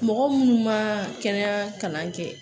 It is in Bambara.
Mɔgɔ munnu ma kɛnɛya kalan kɛ